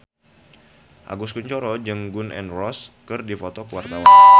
Agus Kuncoro jeung Gun N Roses keur dipoto ku wartawan